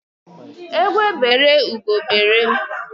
Egwe bere ugo bere.